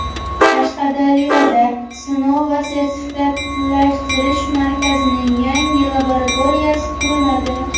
Qashqadaryoda Sinov va sertifikatlashtirish markazining yangi laboratoriyasi quriladi.